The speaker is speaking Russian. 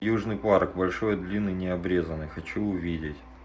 южный парк большой длинный необрезанный хочу увидеть